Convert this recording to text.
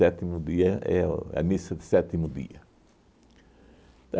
dia, é o a missa de sétimo dia.